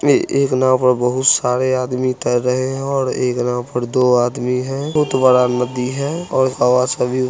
एक नाव पर बहुत सारा आदमी तेर रही है और एक नाव पर दो आदमी है बहुत बड़ा नदी है और हवा से भी --